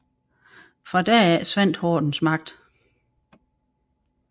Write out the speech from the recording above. Fra da af svandt hordens magt